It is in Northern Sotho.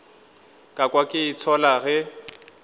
ka kwa ke itshola ge